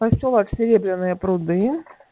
посёлок серебряные пруды